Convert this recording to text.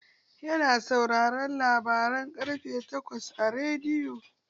Yana sauraren labaran ƙarfe takwas a rediyo.